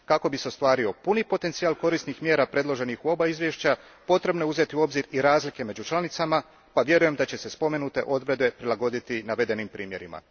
Kako bi se ostvario puni potencijal korisnih mjera predloženih u oba izvješća, potrebno je uzeti u obzir i razlike među članicama pa vjerujem da će se spomenute odredbe prilagoditi navedenim primjerima.